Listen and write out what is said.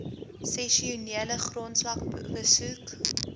sessionele grondslag besoek